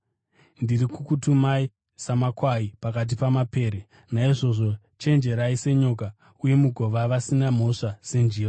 Ndiri kukutumai samakwai pakati pamapere. Naizvozvo chenjerai senyoka uye mugova vasina mhosva senjiva.